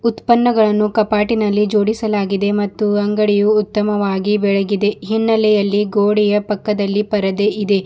ಉತ್ಪನ್ನಗಳನ್ನು ಕಾಪಾಟಿನಲ್ಲಿ ಜೋಡಿಸಲಾಗಿದೆ ಮತ್ತು ಅಂಗಡಿಯು ಉತ್ತಮವಾಗಿ ಬೆಳಗಿದೆ ಹಿನ್ನಲೆಯಲ್ಲಿ ಗೋಡೆಯ ಪಕ್ಕದಲ್ಲಿ ಪರದೆ ಇದೆ.